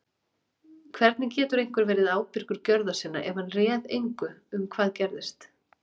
Hvernig getur einhver verið ábyrgur gjörða sinna ef hann réð engu um hvað gerðist?